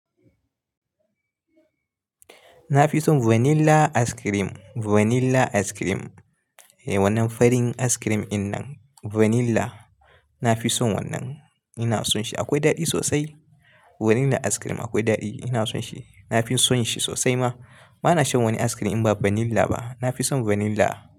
Na fi son vanilla ice cream, vanilla ice cream. Eh wannan farin ice cream din nan vanilla. Na fi son wannan, ina son shi. Akwai daɗi sosai. Vanilla ice cream akwai daɗi, ina son shi. Na fi son shi sosai ma. Ba na shan wani ice cream in ba vanilla ba. Na fi son vanilla.